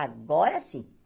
Agora sim.